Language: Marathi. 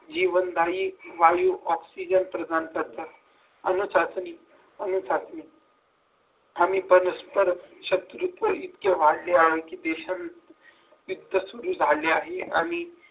जीवनदायी वायू oxygen प्रधान करतात अनुशासनी अनुशासनी आणि परस्पर शत्रुत्व इतकी वाढली आहे की देशात